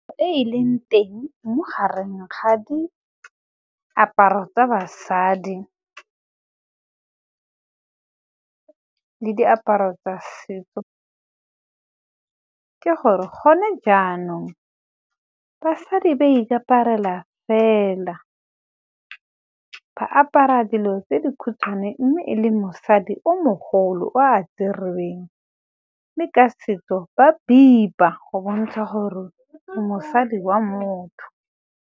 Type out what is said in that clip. E e leng teng mo gareng ga diaparo tsa basadi le diaparo tsa setso ke gore gone jaanong basadi ba ikaparela fela ba apara dilo tse di khutshwane mme e le mosadi o mogolo o a tserweng mme ka setso ba bipa go bontsha gore o mosadi wa motho.